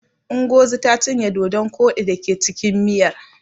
Ingozi ta cinye dodon koɗi da ke cikin miyar.